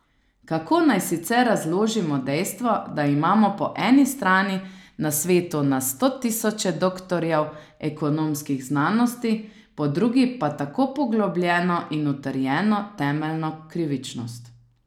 Kako naj sicer razložimo dejstvo, da imamo po eni strani na svetu na sto tisoče doktorjev ekonomskih znanosti, po drugi pa tako poglobljeno in utrjeno temeljno krivičnost.